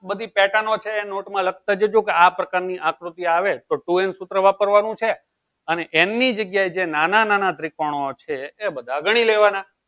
બધી pattern ણો છે એ notebook માં લખતા જજો કે આ પ્રકારની આકૃતિ આવે two n તો સૂત્ર વાપરવાનું છે n એનની જગ્યાએ જે નાના નાના ત્રિકોણો છે એ બધા ગણી લેવાના